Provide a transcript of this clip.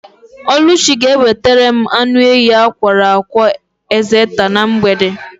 Ọlụchi ga-ewetara m anụ ehi akwọrọ akwọ ekzeta na mgbede.